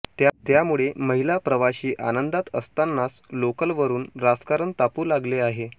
त्यामुळे महिला प्रवाशी आनंदात असतानाच लोकलवरून राजकारण तापू लागले आहे